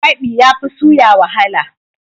Kwabi yafi suya wahala.